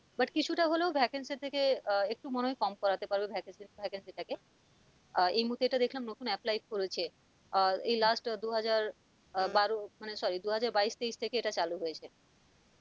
But কিছুটা হলেও vacancy এর থেকে আহ একটু মনেহয় কম করতে পারবে vacancy vacancy টা কে আহ এই মুহুর্তে এটা দেখলাম নতুন apply করেছে আহ এই last দুহাজার আহ বারো মানে sorry দুহাজার বাইশ তেইশ থেকে এটা চালু হয়েছে